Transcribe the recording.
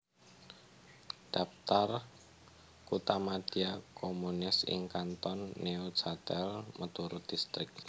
Daptar kuthamadya communes ing Kanton Neuchâtel miturut distrik